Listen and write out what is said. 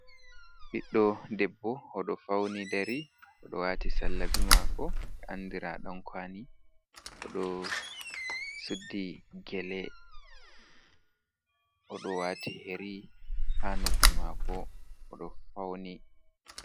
Ɓiɗɗo debbo oɗo fauni dari oɗo wati sallabi mako, be andira ɗan kwalii oɗo suddi gele oɗo wati yeri ha nobbi mako oɗo fauni.